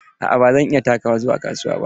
Aa ba zan iya takawa zuwa kasuwa ba.